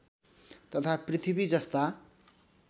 तथा पृथ्वी जस्ता